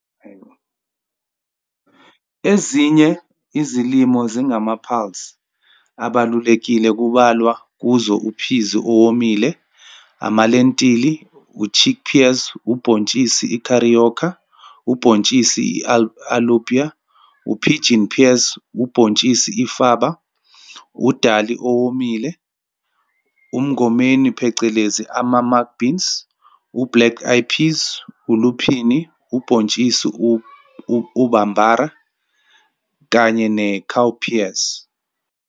Ezinye izilimo ezingama-pulse abalulekile kubalwa kuzo uphizi owomile, amalentili, u-chickpeas, ubhontshisi ikhariyokha, ubhontshisi i-alubya, u-pigeon peas, ubhontshisi i-faba, udali owomile, umngomeni phecelezi ama-mung beans, u-black eyed peas, uluphini, ubhontshisi u-bambara kanye ne-cowpeas.